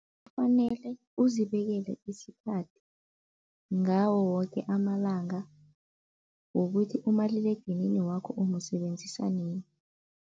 Kufanele uzibekele isikhathi ngawo woke amalanga wokuthi umaliledinini wakho umusebenzisa nini.